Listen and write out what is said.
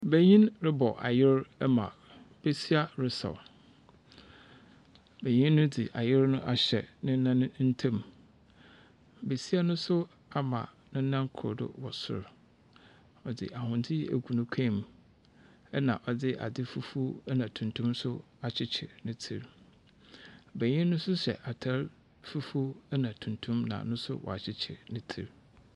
Banyin rebɔ ayer ɛma besia resaw. Banyin no dze ayer no ahyɛ nenan ntam. Besia no so ama nenan kor do wɔ sor. Ɔdze ahwendze egu n'ekɔn mu, ɛna ɔdze adze fufurw ɛna tuntum akyekyer ne tsir. Banyin no so hyɛ atar fufuw na tuntum, na no so wakyekyer ne tsir.